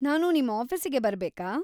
ನಾನು ನಿಮ್‌ ಆಫೀಸಿಗೆ ಬರ್ಬೇಕಾ?